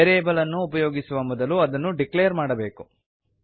variable ಅನ್ನು ಉಪಯೋಗಿಸುವ ಮೊದಲು ಅದನ್ನು ಡಿಕ್ಲೇರ್ ಮಾಡಬೇಕು